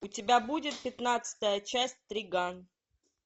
у тебя будет пятнадцатая часть триган